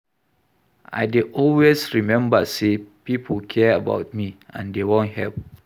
I dey always rememba sey pipo care about me and dey wan help.